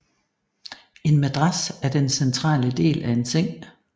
En madras er den centrale del af en seng